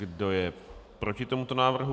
Kdo je proti tomuto návrhu?